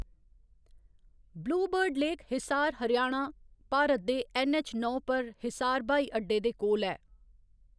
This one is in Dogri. Blue bird lake Hisar, Haryana, Bharat दे ऐन्नऐच्च नौ पर हिसार ब्हाई अड्डे दे कोल ऐ।